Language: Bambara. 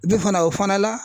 fana o fana la